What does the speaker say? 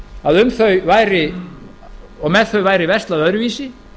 að um þau væri og með þau væri verslað öðruvísi